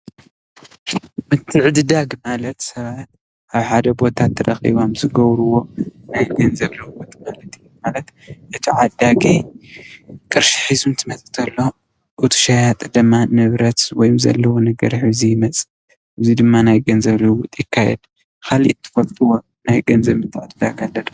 ምትዕድዳግ ማለት ሰባት አብ ሓደ ቦታ ተሪኪቦም ዝገብርዎ ናይ ገንዘብ ልውውጥ ማለት እዩ ። ማለት እቲ ዓዳጊ ቅርሺ ሒዙ እንትመፅእ ተሎ እቲ ሸያጢ ድማ ንብረት ወይ ዘለዎ ነገር ሒዙ ይመፅእ እዙይ ድማ ናይ ገንዘብ ልውውጥ ይካየድ። ካሊእ ትፈልጥዎ ናይ ገንዘብ ምትዕድዳግ ዘሎ ዶ?